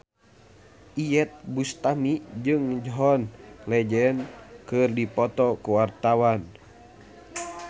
Iyeth Bustami jeung John Legend keur dipoto ku wartawan